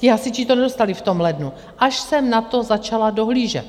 Ti hasiči to nedostali v tom lednu, až jsem na to začala dohlížet.